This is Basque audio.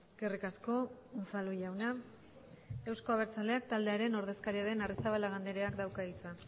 eskerrik asko unzalu jauna euzko abertzaleak taldearen ordezkaria den arrizabalaga andreak dauka hitza